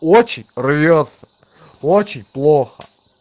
очень рвётся очень плохо